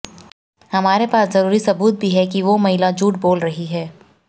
हमारे पास जरूरी सबूत भी हैं कि वो महिला झूठ बोल रही है